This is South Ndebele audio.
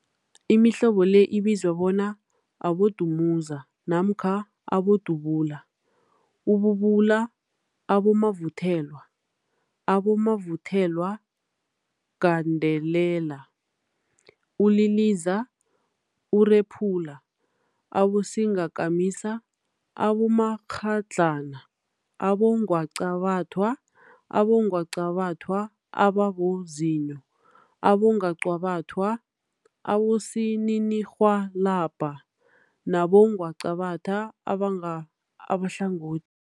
Imihlobo le ibizwa bona, abodumuza namkha abodubula, ububula, abomavuthelwa, abomavuthelwagandelela, uliliza, urephula, abosingakamisa, abomakghadlana, abongwaqabathwa, abongwaqabathwa ababozinyo, abongwaqabathwa abosininirhwalabha nabongwaqabatha abahlangothi.